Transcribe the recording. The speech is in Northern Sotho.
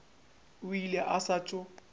o ile a sa tšo